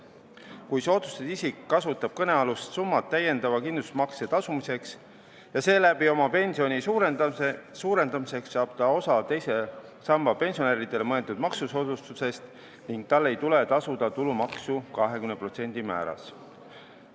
Kui soodustatud isik kasutab kõnealust summat täiendava kindlustusmakse tasumiseks ja seeläbi oma pensioni suurendamiseks, saab ta osa teise samba pensionäridele mõeldud maksusoodustusest ning tal ei tule tasuda tulumaksu 20% määras.